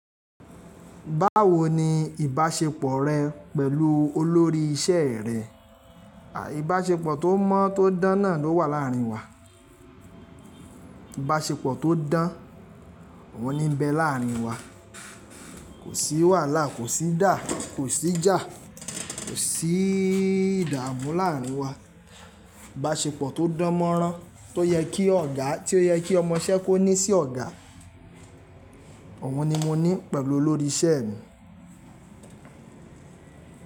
Báwo ni ìbáṣepọ̀ rẹ pẹ̀lú olórí iṣẹ́ rẹ? Ìbáṣepọ̀ tó mọ́ tó dán náà ló wà láàrin wa. Ìbáṣepọ̀ tó dán, òhun ní n bẹ láàrin wa. Kò sí wàhálà, kò sí dà, kò sí jà, kò sí ìdààmú láàrin wa. Ìbáṣepọ̀ tó dánmọ́rán tó yẹ kí ọ̀gá tí ó yẹ kí ọmọ iṣẹ́ kó ní sí ọ̀gá, òhun ni mo ní pẹ̀lú olórí iṣẹ́ mi.